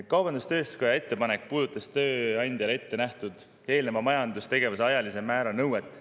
Kaubandus-tööstuskoja ettepanek puudutas tööandjale ette nähtud eelneva majandustegevuse ajalise määra nõuet.